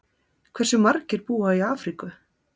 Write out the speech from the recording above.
Hversu margir búa í Afríku?